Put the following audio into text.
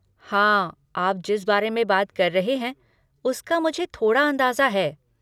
हाँ, आप जिस बारे में बात कर रहे हैं उसका मुझे थोड़ा अंदाज़ा है।